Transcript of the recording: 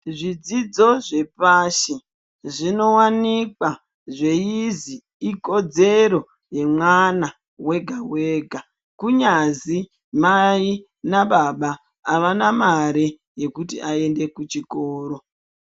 Zvidzidzl zvepashi zvinowanikwa zveizi ikodzero yemwana wega wega kunyazi mai nababa avana mare yekuti aende kuchikoro.